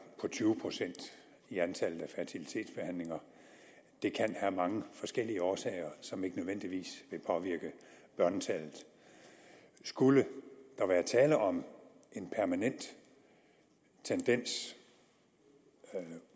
på tyve procent i antallet af fertilitetsbehandlinger det kan have mange forskellige årsager som ikke nødvendigvis vil påvirke børnetallet skulle der være tale om en permanent tendens